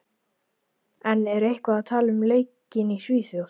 En er eitthvað talað um leikinn í Svíþjóð?